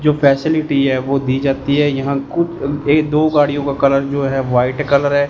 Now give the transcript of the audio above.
जो फैसिलिटी है वो दी जाती है यहां कु ए दो गाड़ियों का कलर जो है व्हाइट कलर है।